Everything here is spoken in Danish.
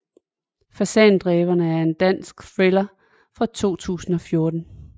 Fasandræberne er en dansk thriller fra 2014